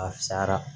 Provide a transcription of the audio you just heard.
A fisayara